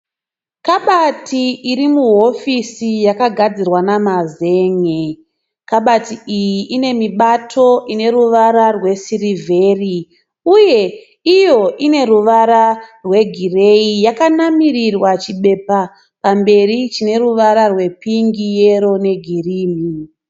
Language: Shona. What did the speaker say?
Kabati iri muhofisi yakagadzirwa namazen'e. Kabati iyi ine mibato ine ruvara rwesirivheri uye iyo ine ruvara rwegireyi. Yakanamirirwa chibepa pamberi chine ruvara rwe pingi, yero negirini.